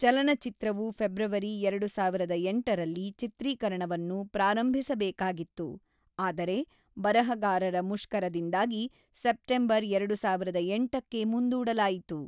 ಚಲನಚಿತ್ರವು ಫೆಬ್ರವರಿ ಎರಡು ಸಾವಿರದ ಎಂಟರಲ್ಲಿ ಚಿತ್ರೀಕರಣವನ್ನು ಪ್ರಾರಂಭಿಸಬೇಕಾಗಿತ್ತು ಆದರೆ ಬರಹಗಾರರ ಮುಷ್ಕರದಿಂದಾಗಿ, ಸೆಪ್ಟೆಂಬರ್ ಎರಡು ಸಾವಿರದ ಎಂಟಕ್ಕೆ ಮುಂದೂಡಲಾಯಿತು.